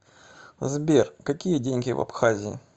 сбер какие деньги в абхазии